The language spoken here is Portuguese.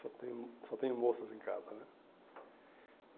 Só tenho só tenho moças em casa, né?